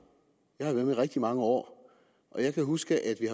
jeg har været med i rigtig mange år og jeg kan huske at vi